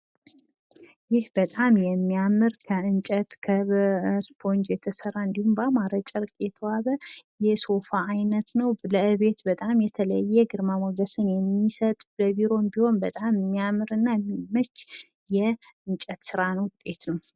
ይህ በጣም የሚያምር ከእንጨት ከእስፖንጅ የተሰራ እንድሁም ባማረ ጨርቅ የተዋበ የሶፋ አይነት ነዉ። ለቤት በጣም የተለየ ግርማ ሞገስን የሚሰጥ ለቢሮም ቢሆን በጣም የሚያምርና የሚመች የእንጨት ስራና ውጤት ነው።